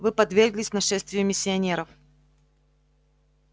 вы подверглись нашествию миссионеров